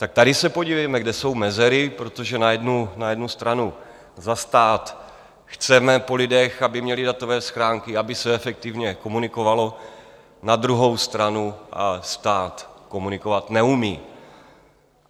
Tak tady se podívejme, kde jsou mezery, protože na jednu stranu za stát chceme po lidech, aby měli datové schránky, aby se efektivně komunikovalo, na druhou stranu stát komunikovat neumí.